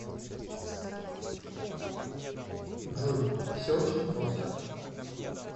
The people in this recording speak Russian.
джой все очень просто